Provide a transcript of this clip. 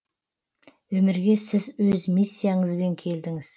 өмірге сіз өз миссияңызбен келдіңіз